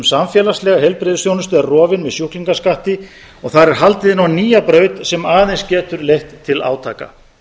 samfélagslega heilbrigðisþjónustu er rofin með sjúklingaskatti og þar er haldið inn á nýja braut sem aðeins getur leitt til átaka